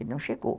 E não chegou.